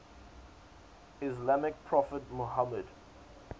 islamic prophet muhammad